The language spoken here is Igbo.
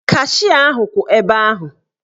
Kashịa ahụ kwụ ebe ahụ.